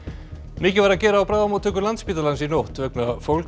mikið var að gera á bráðamóttöku Landspítalans í nótt vegna fólks